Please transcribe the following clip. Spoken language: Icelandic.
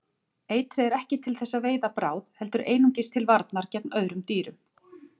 Eitrið er ekki til þess að veiða bráð heldur einungis til varnar gegn öðrum dýrum.